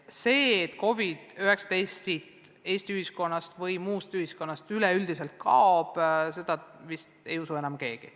Seda, et COVID-19 Eesti ühiskonnast või mujalt üleüldse kaoks, ei usu vist enam keegi.